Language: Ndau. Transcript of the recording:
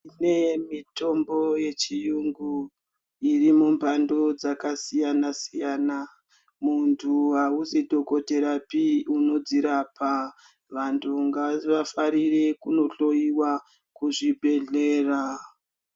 Kune mitombo yechiyungu iri mumhando dzakasiyana siyana. Muntu ausi dhokodherapi unodzirapa. Vantu ngavafarire kunohloiwa kuzvibhendlera.